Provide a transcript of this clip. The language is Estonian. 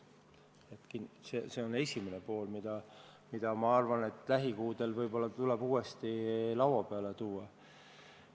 See on esimene pool, mis minu arvates tuleks lähikuudel võib-olla uuesti laua peale tuua.